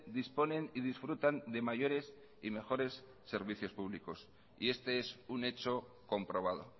disponen y disfrutan de mayores y mejores servicios públicos y este es un hecho comprobado